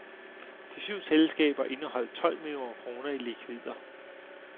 De syv selskaber indeholdt tolv millioner kroner i likvider.